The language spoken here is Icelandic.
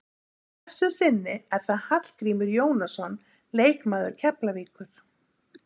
Að þessu sinni er það Hallgrímur Jónasson leikmaður Keflavíkur.